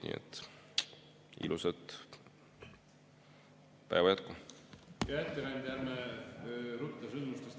Nii et ilusat päeva jätku!